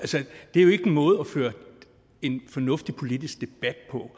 det er jo ikke en måde at føre en fornuftig politisk debat på